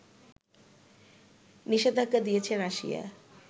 নিষেধাজ্ঞা দিয়েছে রাশিয়া